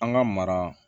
An ka mara